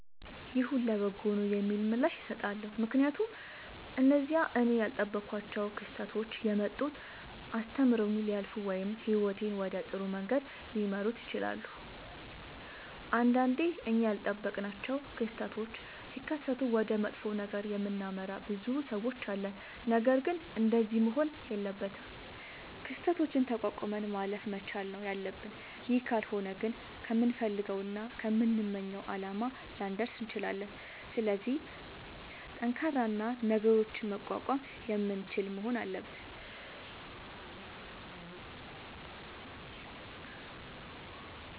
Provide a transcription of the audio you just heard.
ይሁን ለበጎ ነዉ የሚል ምላሽ እሠጣለሁ። ምክንያቱም እነዚያ እኔ ያልጠበኳቸዉ ክስተቶች የመጡት አስተምረዉኝ ሊያልፉ ወይም ህይወቴን ወደ ጥሩ መንገድ ሊመሩት ይችላሉ። ንዳንዴ እኛ ያልጠበቅናቸዉ ክስተቶች ሢከሠቱ ወደ መጥፎ ነገር የምናመራ ብዙ ሠዎች አለን። ነገርግን እንደዚያ መሆን የለበትም። ክስተቶችን ተቋቁመን ማለፍ መቻል ነዉ ያለብን ይህ ካልሆነ ግን ከምንፈልገዉና ከምንመኘዉ አላማ ላንደርስ እንችላለን። ስለዚህ ጠንካራ እና ነገሮችን መቋቋም የምንችል መሆን አለብን።